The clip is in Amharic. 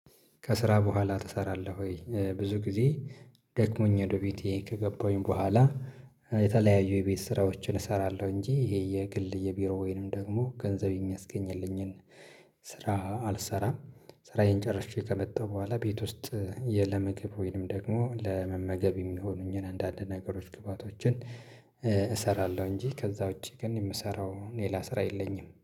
ከስራ በኋላ ትሰራለህ ወይ? ብዙ ጊዜ ደክሞኝ ወደ ቤቴ ከገባሁኝ በኋላ የተለያዩ የቤት ስራዎችን እሰራለሁ እንጂ ይሄ የግል የቢሮ ወይንም ደግሞ ገንዘብ የሚያስገኝልኝን ስራ አልሰራም። ስራዬን ጨርሼ ከመጣሁ በኋላ ቤት ውስጥ ለምግብ ወይንም ደግሞ ለመመገብ የሚሆኑኝን አንድ አንድ ነገሮች ግባቶችን እሰራለሁ። እንጂ ከዛ ውጪ ግን የምሰራው ሌላ ስራ የለኝም